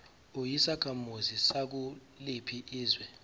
uyisakhamuzi sakuliphi izwe